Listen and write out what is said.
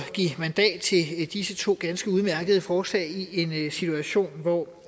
give mandat til disse to ganske udmærkede forslag i en situation hvor